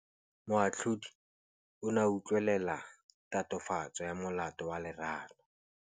Moatlhodi o ne a utlwelela tatofatsô ya molato wa Lerato.